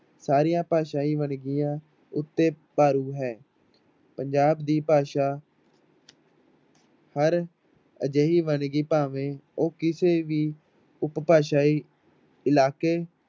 ਸਾਰੀਆਂ ਭਾਸ਼ਾਈ ਵੰਨਗੀਆਂ ਉੱਤੇ ਭਾਰੂ ਹੈ ਪੰਜਾਬ ਦੀ ਭਾਸ਼ਾ ਹਰ ਅਜਿਹੀ ਵੰਨਗੀ ਭਾਵੇਂ ਉਹ ਕਿਸੇ ਵੀ ਉਪਭਾਸਾਈ ਇਲਾਕੇ